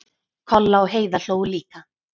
Kolla og Heiða hlógu líka.